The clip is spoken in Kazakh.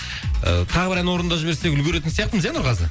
ы тағы бір ән орындап жіберсек үлгеретін сияқтымыз иә нұрғазы